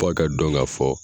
Fo a ka dɔn ka fɔ